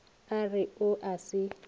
a re o a se